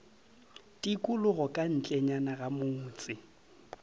tikologo ka ntlenyana ga motse